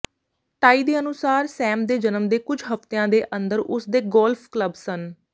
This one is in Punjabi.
ਟਾਈ ਦੇ ਅਨੁਸਾਰ ਸੈਮ ਦੇ ਜਨਮ ਦੇ ਕੁੱਝ ਹਫਤਿਆਂ ਦੇ ਅੰਦਰ ਉਸਦੇ ਗੋਲਫ ਕਲੱਬ ਸਨ